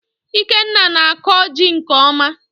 Ikenna na-akọ jị nke ọma